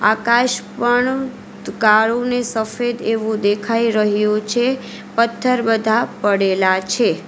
આકાશ પણ કાળું ને સફેદ એવું દેખાઈ રહ્યું છે પથ્થર બધા પડેલા છે.